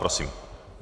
Prosím.